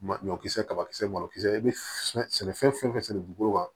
Ma ɲɔkisɛ kabakisɛ malo kisɛ i bɛ sɛ sɛnɛ fɛn fɛn sɛnɛ dugukolo kan